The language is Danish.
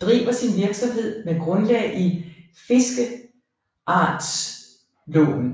driver sin virksomhed med grundlag i fiskeartslagslovev